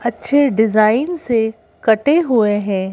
अच्छे डिजाइन से कटे हुए हैं।